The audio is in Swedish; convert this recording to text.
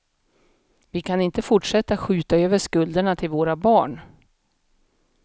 Vi kan inte fortsätta skjuta över skulderna till våra barn.